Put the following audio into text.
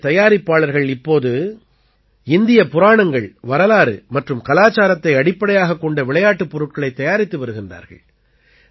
இந்தியத் தயாரிப்பாளர்கள் இப்போது இந்தியப் புராணங்கள் வரலாறு மற்றும் கலாச்சாரத்தை அடிப்படையாகக் கொண்ட விளையாட்டுப் பொருட்களைத் தயாரித்து வருகின்றார்கள்